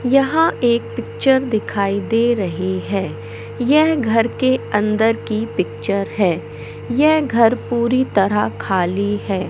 यहाँ एक पिक्चर दिखाई दे रही है यह घर के अंदर की पिक्चर है यह घर पूरी तरह खाली है।